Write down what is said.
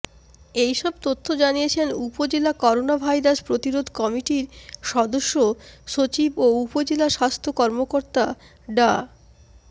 এইসব তথ্য জানিয়েছেন উপজেলা করোনাভাইরাস প্রতিরোধ কমিটির সদস্য সচিব ও উপজেলা স্বাস্থ্য কর্মকর্তা ডা